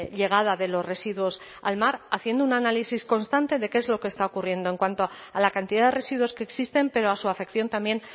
llegada de los residuos al mar haciendo un análisis constante de qué es lo que está ocurriendo en cuanto a la cantidad de residuos que existen pero a su afección también